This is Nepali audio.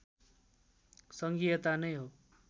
सङ्घीयता नै हो